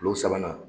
Kilo sabanan